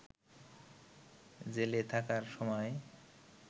জেলে থাকার সময়